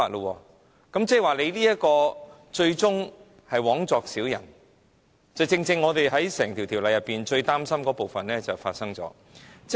香港這樣做最終只是枉作小人，這正是我們對整項《條例草案》裏最擔心的部分。